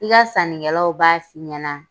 I ka sanni kɛlaw b'a f'i ɲɛna.